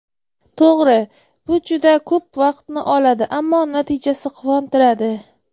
To‘g‘ri, bu juda ko‘p vaqtni oladi, ammo natijasi quvontiradi.